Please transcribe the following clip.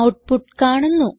output കാണുന്നു